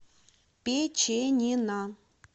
печенина